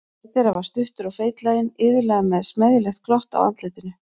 Einn þeirra var stuttur og feitlaginn, iðulega með smeðjulegt glott á andlitinu.